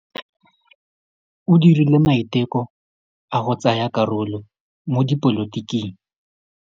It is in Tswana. O dirile maitekô a go tsaya karolo mo dipolotiking.